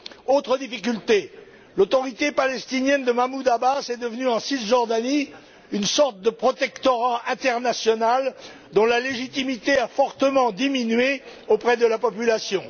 Autre difficulté, l'autorité palestinienne de Mahmoud Abbas est devenue, en Cisjordanie, une sorte de protectorat international dont la légitimité a fortement diminué auprès de la population.